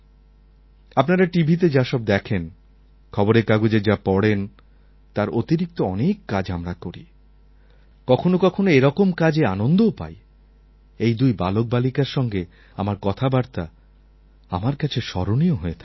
আপনারা টিভিতে যা সব দেখেন খবরের কাগজে যা পড়েন তার অতিরিক্ত অনেক কাজ আমরা করি কখনো কখনো এরকম কাজে আনন্দও পাই এই দুই বালকবালিকার সঙ্গে আমার কথাবার্তা আমার কাছে স্মরণীয় হয়ে থাকবে